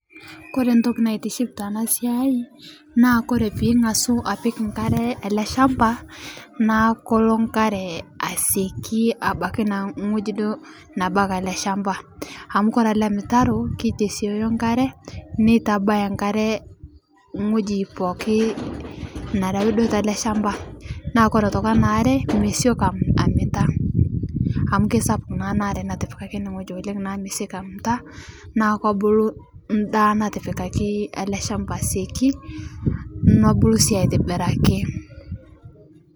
Kore ntoki naitiship tana siai naa kore piingasu apik nkare akee ale shampa naa kolo nkare asiekii abaki naa ng'oji duo nabaki alee shampa amu kore ale mtaroo keitesioyo nkare neitabaya nkare ng'oji pooki nerawi duo talee shampa naa kore otoki ana aree mesioki amitaa amu keisapuk naa ana aree natipikaki ene ng'oji naaku mesioki amita naa kobulu ndaa natipikaki ale shampa asieki nobulu sii aitibiraki.